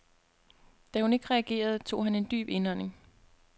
Da hun ikke reagerede, tog han en dyb indånding.